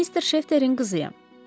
Mən mister Şefterin qızıyam.